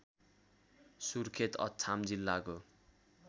सुर्खेत अछाम जिल्लाको